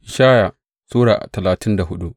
Ishaya Sura talatin da hudu